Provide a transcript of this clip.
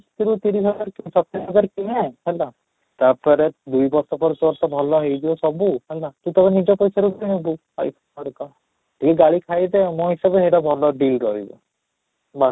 ତିରିଶ ତିରିଶ ହାଜର କି ସତେଇଶ ହଜାର କିଣେ ହେଲା, ତା'ପରେ ଦୁଇ ବର୍ଷ ପରେ ତୋର ତ ଭଲ ହେଇଯିବ ସବୁ ହେଲା ତୁ ତୋର ନିଜ ପଇସାରେ କିଣିବୁ I phone ହରିକା, ଟିକେ ଗାଳି ଖାଇଦେ ମୋ ହିସାବରେ ହେଇଟା ଭଲ deal ରହିବ ବାସ